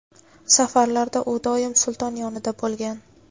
safarlarda u doim sulton yonida bo‘lgan.